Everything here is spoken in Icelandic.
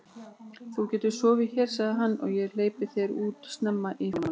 Þú getur sofið hér sagði hann, og ég hleypi þér út snemma í fyrramálið.